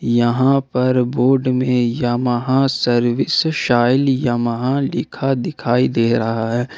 यहां पर बोर्ड में यामाहा सर्विस शैल यामाहा लिखा दिखाई दे रहा है।